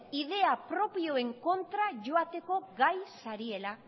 ideia propioen kontra joateko gai zaretela